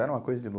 Era uma coisa de